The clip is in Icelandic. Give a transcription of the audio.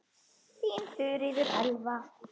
Þín Þuríður Elva.